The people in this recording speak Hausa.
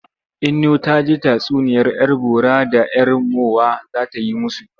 Inno ta ce tatsuniyar 'yar bora da 'yar mowa za ta yi musu.